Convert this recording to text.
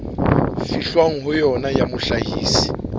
fihlwang ho yona ya mohlahisi